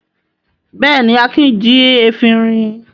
Bẹ́ẹ̀ni, Akin jí efirin.